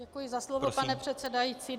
Děkuji za slovo, pane předsedající.